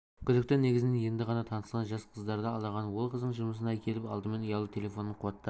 күдікті негізінен енді ғана танысқан жас қыздарды алдаған ол қыздың жұмысына келіп алдымен ұялы телефонын қуаттап